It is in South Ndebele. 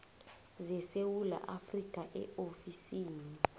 zesewula afrika eofisini